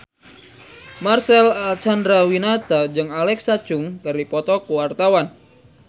Marcel Chandrawinata jeung Alexa Chung keur dipoto ku wartawan